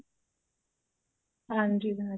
ਹਾਂਜੀ ਬਣਾ ਕੇ